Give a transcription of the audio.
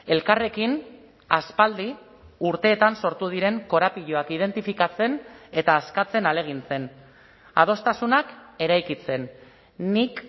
elkarrekin aspaldi urteetan sortu diren korapiloak identifikatzen eta askatzen ahalegintzen adostasunak eraikitzen nik